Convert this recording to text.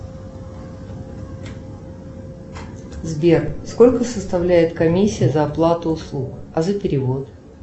сбер сколько составляет комиссия за оплату услуг а за перевод